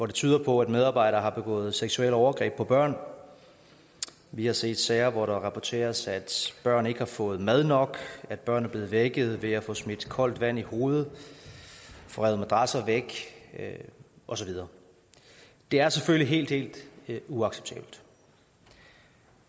det tyder på at medarbejdere har begået seksuelle overgreb på børn vi har set sager hvor det rapporteres at børn ikke har fået mad nok at børn er blevet vækket ved at få smidt koldt vand i hovedet få revet madrasser væk og så videre det er selvfølgelig helt helt uacceptabelt